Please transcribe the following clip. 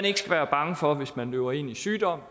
ikke skal være bange for hvis man løber ind i sygdom